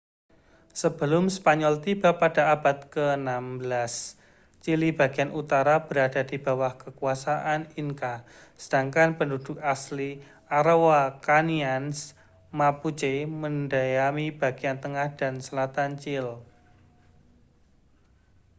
sebelum spanyol tiba pada abad ke-16 chili bagian utara berada di bawah kekuasaan inca sedangkan penduduk asli araucanians mapuche mendiami bagian tengah dan selatan chile